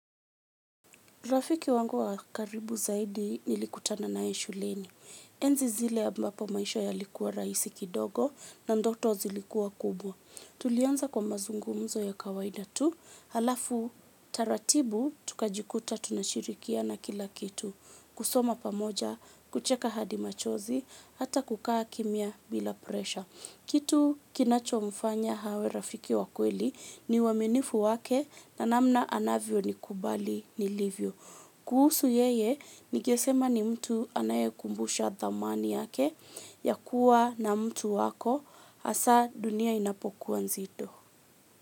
Rafiki wangu wa karibu zaidi nilikutana naye shuleni. Enzi zile ambapo maisha yalikuwa rahisi kidogo na ndoto zilikua kubwa. Tulianza kwa mazungumzo ya kawaida tu. Halafu taratibu tukajikuta tunashirikiana kila kitu. Kusoma pamoja, kucheka hadi machozi, hata kukaa kimya bila presha. Kitu kinacho mfanya awe rafiki wa kweli ni uaminifu wake na namna anavyo ni kubali nilivyo. Kuhusu yeye ningesema ni mtu anayekumbusha thamani yake ya kuwa na mtu wako hasaa dunia inapokuwa nzito.